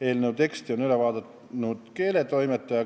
Eelnõu teksti on üle vaadanud keeletoimetaja.